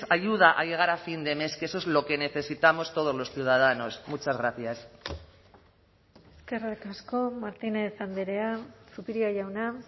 ayuda a llegar a fin de mes que eso es lo que necesitamos todos los ciudadanos muchas gracias eskerrik asko martínez andrea zupiria jauna